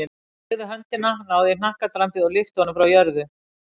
Ég teygði út höndina, náði í hnakkadrambið og lyfti honum frá jörðu.